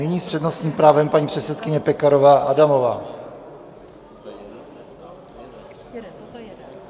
Nyní s přednostním právem paní předsedkyně Pekarová Adamová.